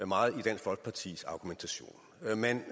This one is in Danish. meget i dansk folkepartis argumentation man